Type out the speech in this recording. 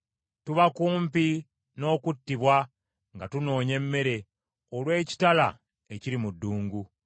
Tuba kumpi n’okuttibwa nga tunoonya emmere, olw’ekitala ekiri mu ddungu.